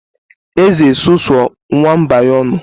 Eze susuo nwamba ya ọnụ